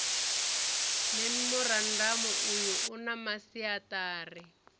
memorandamu uyu u na masiaṱari